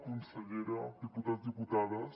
consellera diputats diputades